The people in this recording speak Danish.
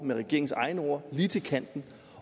med regeringens egne ord lige til kanten